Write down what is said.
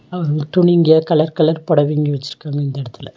துணிங்க colour colour பொடவைங்க வெச்சிருக்காங்க இந்த எடத்துல.